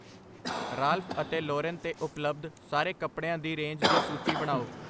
Ralph ਅਤੇ Lauren 'ਤੇ ਉਪਲਬਧ ਸਾਰੇ ਕੱਪੜਿਆਂ ਦੀ ਰੇਂਜ ਦੀ ਸੂਚੀ ਬਣਾਓ